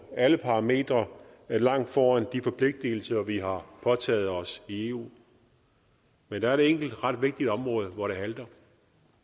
alle parametre ligger langt foran de forpligtigelser vi har påtaget os i eu men der er et enkelt ret vigtigt område hvor det halter